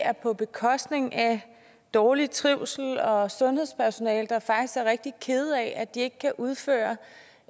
er på bekostning af dårlig trivsel og et sundhedspersonale der faktisk er rigtig kede af at de ikke kan udføre